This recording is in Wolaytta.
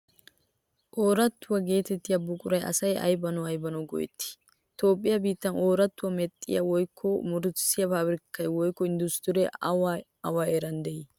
Oroottuwaa geetettiya buquraa asay aybanawu aybanawu go'ettii? Toophphiyaa biittan oroottuwaa medhdhiya woykko murutissiyaa paabirkkay woykko inddustiree awa awa heeran de"ii?